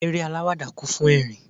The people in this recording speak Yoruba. Eré àwàdà máa ń kún fún ẹrin.